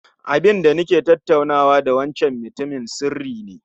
Abinda nake tattaunawa da wancan mutumin sirri ne